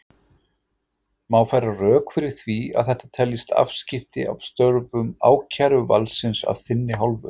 Má færa rök fyrir því að þetta teljist afskipti af störfum ákæruvaldsins af þinni hálfu?